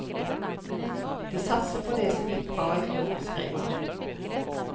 De satser på det som gikk bra i fjor, skriver han.